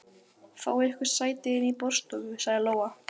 Fáið ykkur sæti inni í borðstofu, sagði Lóa.